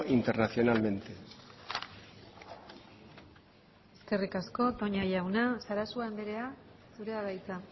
internacionalmente eskerrik asko toña jauna sarasua andrea zurea da hitza